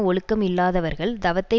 ஒழுக்கம் இல்லாதவர்கள் தவத்தை